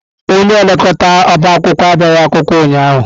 Onye elekọta ọbá akwụkwọ abịaghị akwụkwọ ụnyahụ.